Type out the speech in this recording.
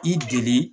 I deli